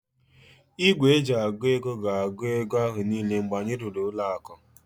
Igwe eji agụ ego gs-agu ego ahu niile mgbe anyị rụrụ ụlọ aku